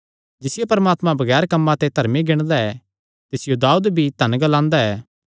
जिसियो परमात्मा बगैर कम्मां दे धर्मी गिणदा ऐ तिसियो दाऊद भी धन ग्लांदा ऐ